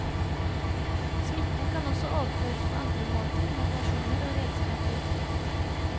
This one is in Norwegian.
Smitten kan også overføres på andre måter, med personer og redskaper.